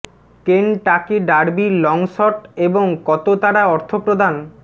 Kentucky Derby long shot এবং কত তারা অর্থ প্রদান